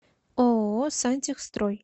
ооо сантехстрой